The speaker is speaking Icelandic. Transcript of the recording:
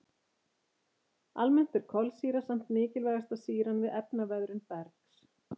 Almennt er kolsýra samt mikilvægasta sýran við efnaveðrun bergs.